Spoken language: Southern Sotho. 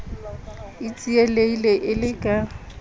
a tsielehile e le ka